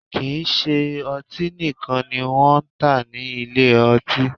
Kì í ṣe ọtí nìkan ni wọ́n ń tà ní ilé ọtí